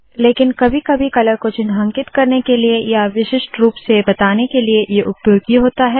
लेकिन कभी कभी कलर को चिन्हांकित करने के लिए या विशिष्ट रूप से बताने के लिए ये उपयोगी होता है